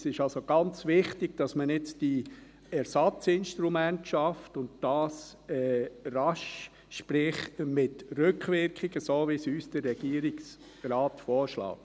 Es ist also sehr wichtig, dass man nun diese Ersatzinstrumente schafft, und dies rasch, sprich: mit Rückwirkung, wie es uns der Regierungsrat vorschlägt.